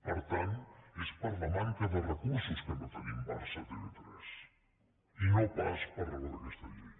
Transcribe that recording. per tant és per la manca de recursos que no tenim barça a tv3 i no pas per raó d’aquesta llei